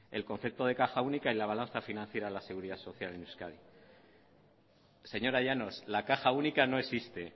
el concepto de caja única y la balanza financiera de la seguridad social en euskadi señora llanos la caja única no existe